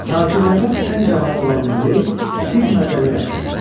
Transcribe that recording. Tacirlərdən ən cavanı olan Muley bir məzəli rəqs oynadı.